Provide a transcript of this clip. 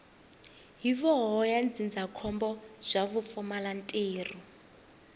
huvo ya ndzindzakhombo bya vupfumalantirho